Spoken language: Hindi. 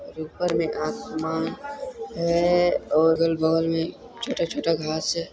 और ऊपर में आसमान हैं और अगल-बगल में छोटा-छोटा घास हैं।